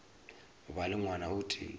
ba le ngwana o tee